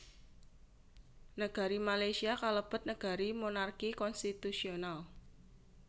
Negari Malaysia kalebet negari monarki konstitusional